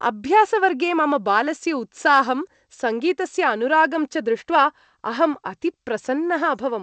अभ्यासवर्गे मम बालस्य उत्साहं, सङ्गीतस्य अनुरागं च दृष्ट्वा अहं अतिप्रसन्नः अभवम्।